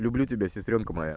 люблю тебя сестрёнка моя